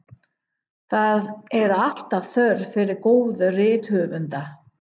Það er alltaf þörf fyrir góða rithöfunda.